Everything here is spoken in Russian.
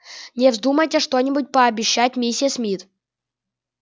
не вздумайте что-нибудь пообещать миссис мид